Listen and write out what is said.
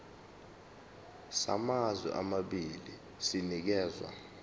samazwe amabili sinikezwa